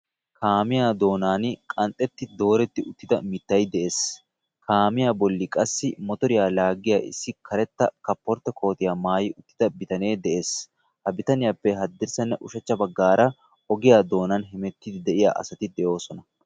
Kaamiyaa doonani qanxetti doretti uttidda mittay de'ees. Kaamiyaa bolli qassi mottoriyaa laaggiya issi karetta kaapporttiya koottiya maayi uttidda bittanne de'ees. Ha bitaniyaappe hadrissaranne ushachcha baggaara oggiyaa doonani hemettiiddi de'iyaa asati de'ossona.